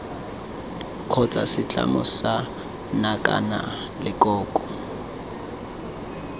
kgotsa setlamo sa nakwana leloko